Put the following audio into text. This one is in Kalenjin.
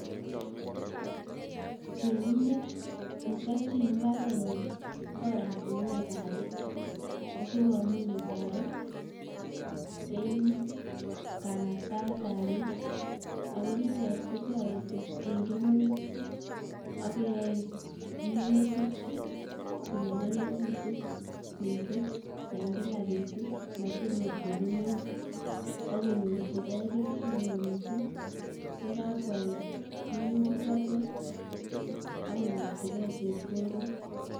Temindet nechopchin mbaretnyi oratunwek ap peek asikomuch kotoret eng' kanaktaet ap peek ako nitet kotoreti ing' kemeut akoyae minutik konyalilikitu miising' ing'kila betut matinkokemeut akonyorchigei kelchin neoo miising' yekakwalda minutik chotek akonyorchigei chepkondok